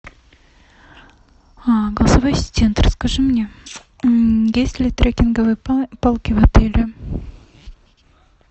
голосовой ассистент расскажи мне есть ли трекинговые палки в отеле